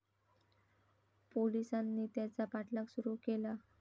पोलीसांनी त्याचा पाठलाग सुरु केला.